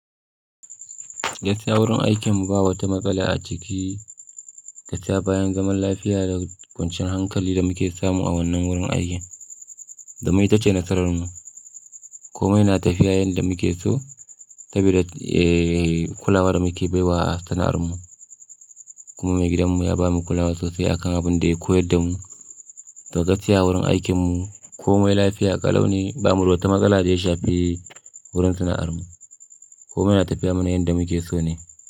Gaskiya wurin aikin mu ba wata matsala a ciki gaskiya bayan zaman lafiya da kwancan hankalin da muke samu a wannan wurin aikin, domin ita ce nasarar mu. Komai na tafiya yanda muke so, saboda eh kula da muke bai wa sana'ar mu. Kuma mai gidan mu ya bamu kulawa sosai akan abunda ya koyar da mu. Da gaskiya wurin aikin mu komai lafiya ƙalau ne ba mu da wata matsala da ya shafi wurin sana'ar mu. Komai na tafiya mana yanda muke so ne.